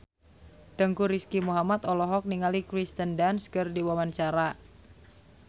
Teuku Rizky Muhammad olohok ningali Kirsten Dunst keur diwawancara